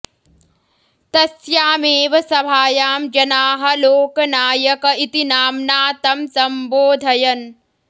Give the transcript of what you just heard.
तस्यामेव सभायां जनाः लोकनायक इति नाम्ना तं सम्बोधयन्